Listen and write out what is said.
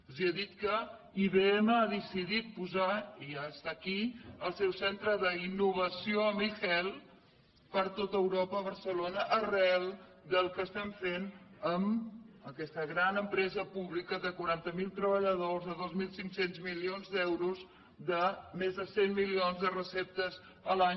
els he dit que ibm ha decidit posar i ja està aquí el seu centre d’innovació en ehealth per tot europa a barcelona arran del que estem fent amb aquesta gran empresa pública de quaranta mil treballadors de dos mil cinc cents milions d’euros de més de cent milions de receptes l’any